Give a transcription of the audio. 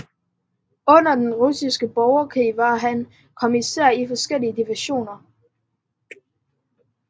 Under Den Russiske Borgerkrig var han kommissær i forskellige divisioner